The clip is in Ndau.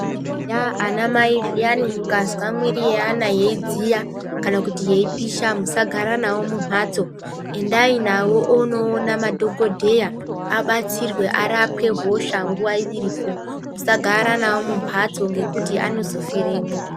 Eya anamai zviyani mukazwa miiri yeana yeidziya kana kuti yeipisha. Musagara navo mumhatso, endai navo onoona madhokodheya abatsirwe arapwe hosha nguva iripo. Musagara navo mumbatso ngekuti anozofiremwo.